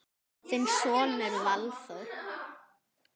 Þinn sonur Valþór.